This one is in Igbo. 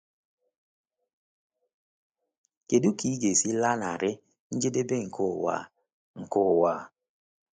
Kedu ka ị ga-esi lanarị njedebe nke ụwa a? nke ụwa a?